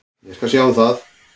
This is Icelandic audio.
Ég skal sjá um það.